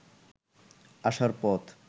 আসার পথ